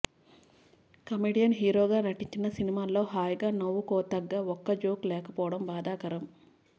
comedian హీరోగా నటించిన సినిమాలో హాయిగా నవ్వుకోతగ్గ ఒక్క జోక్ లేకపోవడం బాధాకరం